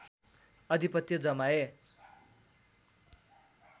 अधिपत्य जमाए